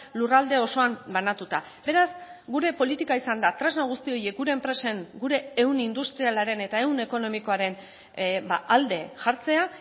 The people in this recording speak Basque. lurralde osoan banatuta beraz gure politika izan da tresna guzti horiek gure enpresen gure ehun industrialaren eta ehun ekonomikoaren alde jartzea